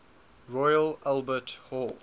royal albert hall